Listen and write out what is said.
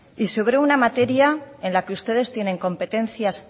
y sobre una materia en la que ustedes tienen competencias